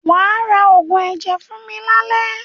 Wà á ra oògùn ẹ̀jẹ̀ fún mi lálẹ́!